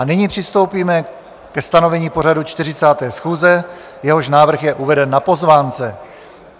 A nyní přistoupíme ke stanovení pořadu 40. schůze, jehož návrh je uveden na pozvánce.